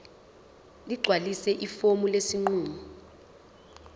ligcwalise ifomu lesinqumo